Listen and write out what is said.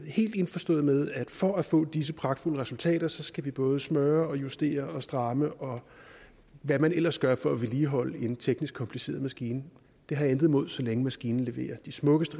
helt indforstået med at for at få disse pragtfulde resultater skal vi både smøre og justere og stramme og hvad man ellers gør for at vedligeholde en teknisk kompliceret maskine det har jeg intet imod så længe maskinen leverer de smukkeste